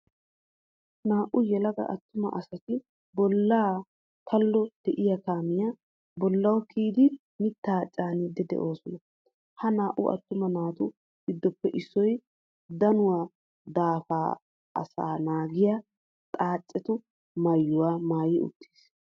Naa''u yelaga attuma asati bollaa kallo de'iya kaamiya bollawu kiyidi mittaa caaniiddi de'oosona. Ha naa''u attuma naatu giddoppe issoy danuwa daafaappe asaa naagiya xaacetu maayuwa maayi uttiis.